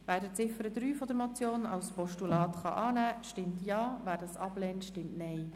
Wer die Ziffer 3 der Motion als Postulat annehmen kann, stimmt Ja, wer dies ablehnt, stimmt Nein.